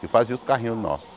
que fazia os carrinhos nossos.